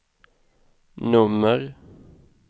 nummer